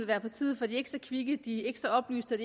være partiet for de ikke så kvikke de ikke så oplyste og